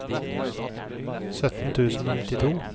sytten tusen og nittito